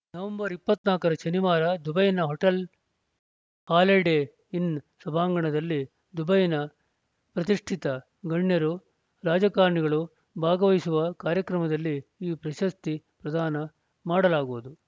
November ಇಪ್ಪತ್ತ್ ನಾಲ್ಕರ ಶನಿವಾರ ದುಬೈನ ಹೊಟೆಲ್‌ ಹಾಲಿಡೇ ಇನ್‌ ಸಭಾಂಗಣದಲ್ಲಿ ದುಬೈನ ಪ್ರತಿಷ್ಠಿತ ಗಣ್ಯರು ರಾಜಕಾರಣಿಗಳು ಭಾಗವಹಿಸುವ ಕಾರ್ಯಕ್ರಮದಲ್ಲಿ ಈ ಪ್ರಶಸ್ತಿ ಪ್ರದಾನ ಮಾಡಲಾಗುವುದು